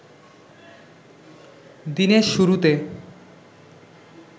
দিনের শুরুতে